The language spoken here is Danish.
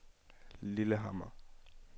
Lillehammer